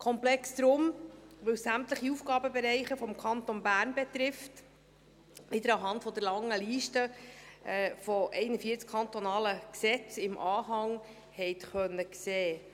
Komplex darum, weil es sämtliche Aufgabenbereiche des Kantons Bern betrifft, wie Sie anhand der langen Liste von 41 kantonalen Gesetzen im Anhang sehen konnten.